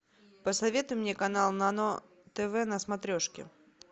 посоветуй мне канал нано тв на смотрешке